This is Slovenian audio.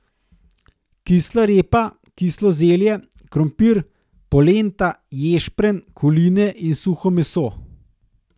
Kisla repa, kislo zelje, krompir, polenta, ješprenj, koline in suho meso.